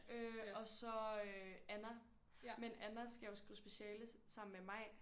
Øh og så øh Anna. Men Anna skal jo skrive speciale sammen med Maj